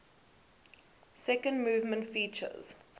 second movement features